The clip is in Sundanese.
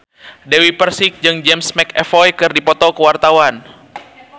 Dewi Persik jeung James McAvoy keur dipoto ku wartawan